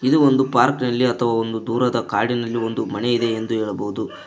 ಇದು ಒಂದು ಪಾರ್ಕ್ ನಲ್ಲಿ ಅಥವಾ ಒಂದು ದೂರದ ಕಾಡಿನಲ್ಲಿ ಮನೆ ಇದೆ ಎಂದು ಹೇಳಬಹುದು.